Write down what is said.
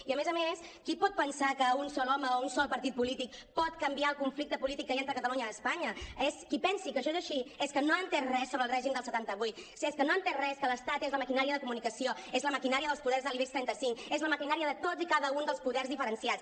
i a més a més qui pot pensar que un sol home o un sol partit polític pot canviar el conflicte polític que hi ha entre catalunya i espanya qui pensi que això és així és que no ha entès res sobre el règim del setanta vuit és que no ha entès que l’estat és la maquinària de comunicació és la maquinària dels poders de l’ibex trenta cinc és la maquinària de tots i cada un dels poders diferenciats